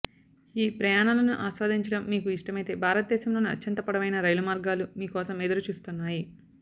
ఈ ప్రయాణాలను ఆస్వాదించడం మీకు ఇష్టమైతే భారతదేశంలోనే అత్యంత పొడవైన రైలు మార్గాలు మీ కోసం ఎదురు చూస్తున్నాయి